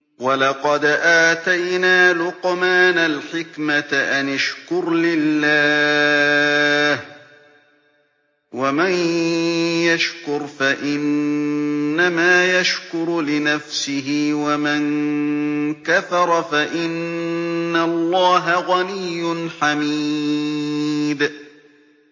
وَلَقَدْ آتَيْنَا لُقْمَانَ الْحِكْمَةَ أَنِ اشْكُرْ لِلَّهِ ۚ وَمَن يَشْكُرْ فَإِنَّمَا يَشْكُرُ لِنَفْسِهِ ۖ وَمَن كَفَرَ فَإِنَّ اللَّهَ غَنِيٌّ حَمِيدٌ